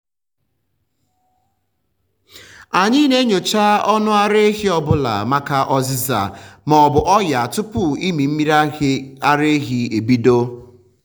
anyị na-enyocha ọnụ ara ehi ọ bụla maka ọzịza ma ọ bụ ọnya tupu ịmị mmiri ara ehi ebido.